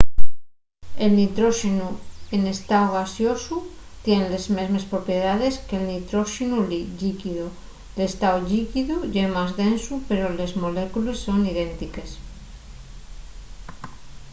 el nitróxenu n'estáu gaseosu tien les mesmes propiedaes que'l nitróxenu llíquido l'estáu llíquidu ye más densu pero les molécules son idéntiques